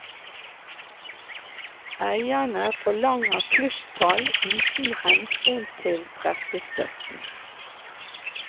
Eierne forlanger plusstall uten hensyn til pressestøtten.